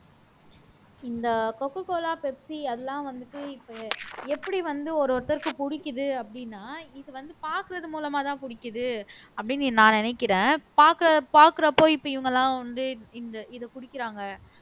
இந்த Cocacola Pepsi அது எல்லாம் வந்துட்டு இப்ப எப்படி வந்து ஒரு ஒருத்தருக்கு பிடிக்குது அப்படின்னா இது வந்து பார்க்கிறது மூலமாதான் புடிக்குது அப்படின்னு நான் நினைக்கிறேன் பார்க் பார்க்கிறப்போ இப்ப இவங்க எல்லாம் வந்து இந்த இத குடிக்கிறாங்க